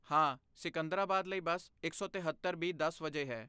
ਹਾਂ, ਸਿਕੰਦਰਾਬਾਦ ਲਈ ਬੱਸ ਇਕ ਸੌ ਤਹੇਤਰ ਬੀ ਦਸ ਵਜੇ ਹੈ